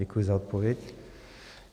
Děkuji za odpověď.